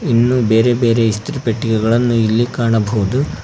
ಇನ್ನು ಬೇರೆ ಬೇರೆ ಇಸ್ತ್ರಿ ಪೆಟ್ಟಿಗೆಗಳನ್ನು ಇಲ್ಲಿ ಕಾಣಬಹುದು.